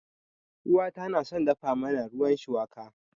Uwata na son dafa mana ruwan shuwaka.